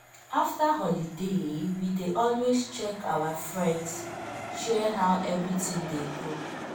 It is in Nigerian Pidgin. after holiday we dey always check our friends share how everyting dey go